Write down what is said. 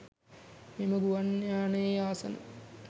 මෙම ගුවන් යානයේ ආසන